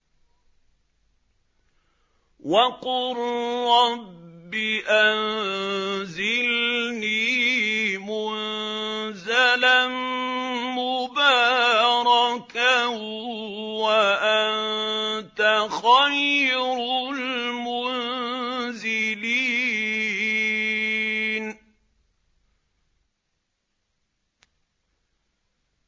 وَقُل رَّبِّ أَنزِلْنِي مُنزَلًا مُّبَارَكًا وَأَنتَ خَيْرُ الْمُنزِلِينَ